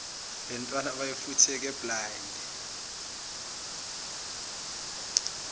lentwana beyifutheke blind